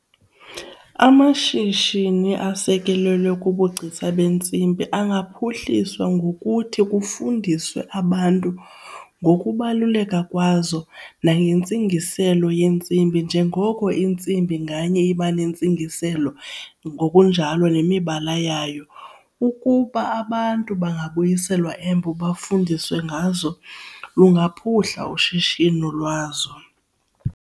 Amashishini asekelelwe kubugcisa beentsimbi angaliphuhliswa ngokuthi kufundiswe abantu ngokubaluleka kwazo nangentsingiselo yentsimbi njengoko intsimbi nganye iban entsingiselo ngokunjalo nemibala yayo. Ukuba abantu bangayiselwa embo bafundiswe ngazo lungaphuhla ushishino lwazo.